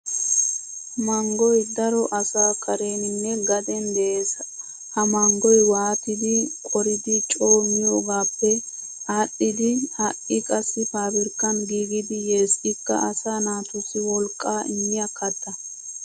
Manggoy daro asaa kareeninne gaden de'es. Ha manggoy wottidi qoridi coo miyoogaappe adhdhidi ha'i qassi faabirikkan giigidi yes ikka asaa naatussi wolqqaa immiya katta.